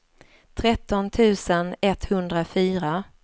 tretton tusen etthundrafyra